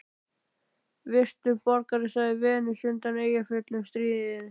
Virtur borgari, sagði Venus undan Eyjafjöllum stríðin.